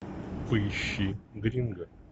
поищи гринго